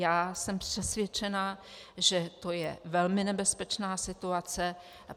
Já jsem přesvědčena, že to je velmi nebezpečná situace.